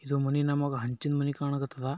ಈ ಮನೆ ನಮಗೆ ಅಂಚಿನ ಮನೆ ಕನಕ್ ಹತ್ತದ